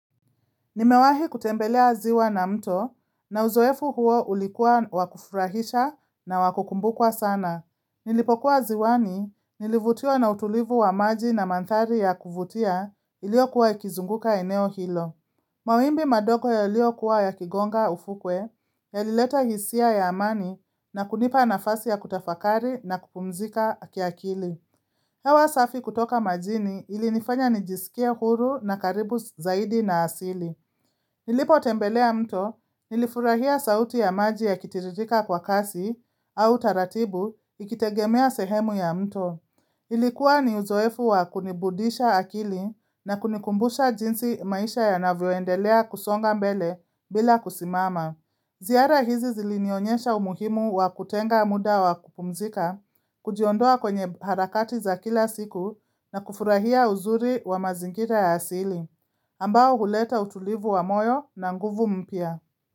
Nimewahi kutembelea ziwa na mto na uzoefu huo ulikuwa wakufurahisha na wakukumbukwa sana. Nilipokuwa ziwani, nilivutiwa na utulivu wa maji na mandhari ya kuvutia iliyokuwa ikizunguka eneo hilo. Mawimbi madog yaliyokuwa yakigonga ufukwe, yalileta hisia ya amani na kunipa nafasi ya kutafakari na kupumzika akiakili. Hewa safi kutoka majini ilinifanya nijisikie huru na karibu zaidi na asili. Nilipotembelea mto, nilifurahia sauti ya maji ya kitiririka kwa kasi au taratibu ikitegemea sehemu ya mto. Ilikuwa ni uzoefu wa kunibudisha akili na kunikumbusha jinsi maisha yanavyoendelea kusonga mbele bila kusimama. Ziara hizi zilinionyesha umuhimu wa kutenga muda wa kupumzika, kujiondoa kwenye harakati za kila siku na kufurahia uzuri wa mazingira ya asili. Ambao huleta utulivu wa moyo na nguvu mpya.